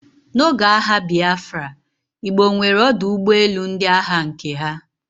n'oge agha Biafra, Igbo nwere ọdụ ụgbọ elu ndị agha nke ha